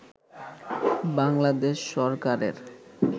বাংলাদেশ সরকারের